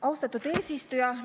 Austatud eesistuja!